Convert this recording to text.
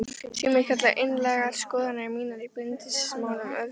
Sumir kalla einlægar skoðanir mínar í bindindismálum öfgar.